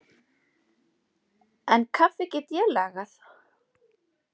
En kaffi get ég lagað.